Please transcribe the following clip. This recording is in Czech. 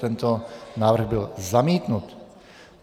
Tento návrh byl zamítnut.